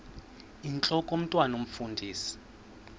intlok omntwan omfundisi